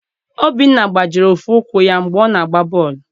Obinna gbajiri ofu ụkwụ ya mgbe ọ na-agba bọọlụ.